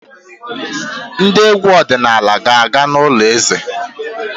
Ndị egwu ọdịnala ga-aga n'ụlọ eze.